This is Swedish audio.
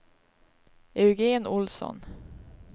Eugén Olsson